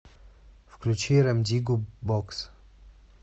включи рем диггу бокс